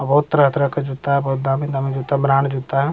और बहुत तरह का जूता बहुत दामी दामी जूता जूता --